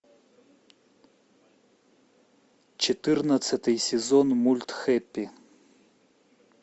четырнадцатый сезон мульт хэппи